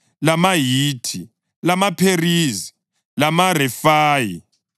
lamaHithi, lamaPherizi, lamaRefayi,